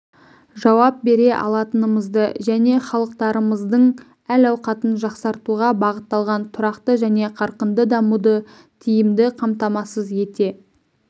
жауап бере алатынымызды және халықтарымыздың әл-ауқатын жақсартуға бағытталған тұрақты және қарқынды дамуды тиімді қамтамасыз ете